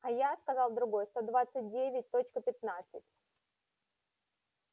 а я сказал другой сто двадцать девять точка пятнадцать